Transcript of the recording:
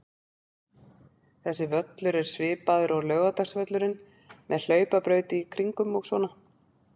Þessi völlur er svipaður og Laugardalsvöllurinn, með hlaupabraut í kringum og svona.